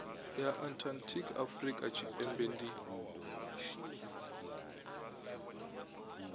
ya antarctic afurika tshipembe ndi